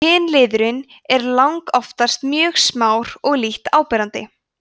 kynliðurinn er langoftast mjög smár og lítt áberandi